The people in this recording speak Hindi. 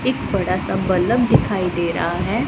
एक बड़ा सा बल्ब दिखाई दे रहा है।